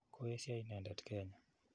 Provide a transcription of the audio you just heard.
Koesyo inendet kenya.